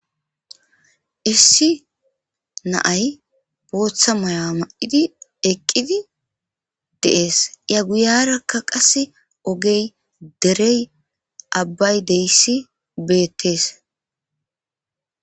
Issi naay booththa mayaa ma7idi eqqidi dees iya guyarakka qase ogey derey abbay deyssi beettees